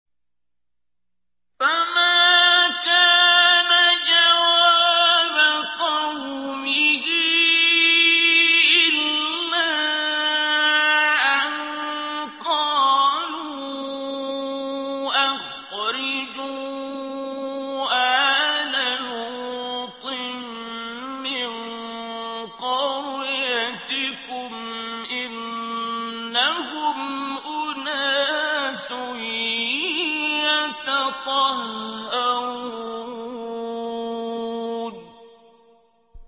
۞ فَمَا كَانَ جَوَابَ قَوْمِهِ إِلَّا أَن قَالُوا أَخْرِجُوا آلَ لُوطٍ مِّن قَرْيَتِكُمْ ۖ إِنَّهُمْ أُنَاسٌ يَتَطَهَّرُونَ